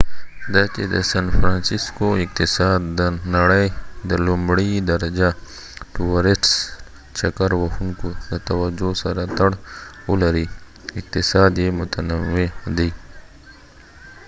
دا چې د سن فرانسیسکو اقتصاد د نړۍ د لومړۍ درجه ټوورسټ چکر وهونکو د توجه سره تړاو لري، اقتصاد یې متنوع دی